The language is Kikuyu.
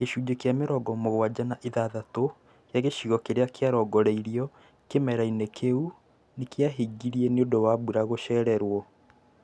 Gĩcunjĩ kĩa mĩrongo mũgwanja na ithathatũ kĩa gĩcigo kĩrĩa kĩarongoreirio kĩmera-inĩ kĩu nĩkiahingire nĩũndũ wa mbura gũcererwo